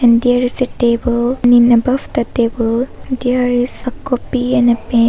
There is a table. And in above the table there is a copy and a pen.